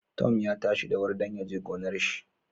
Tom ya tashi da wuri dan yaje gonar shi